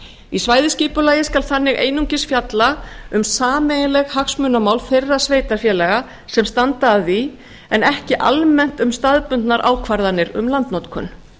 í svæðisskipulagi skal þannig einungis fjalla um sameiginleg hagsmunamál þeirra sveitarfélaga sem standa að því en ekki almennt um staðbundnar ákvarðanir um landnotkun